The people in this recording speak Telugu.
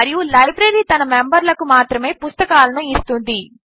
మరియు లైబ్రరీ తన మెంబర్లకు మాత్రమే పుస్తకాలను ఇస్తుంది